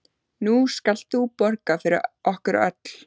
Nú skalt þú borga fyrir okkur öll.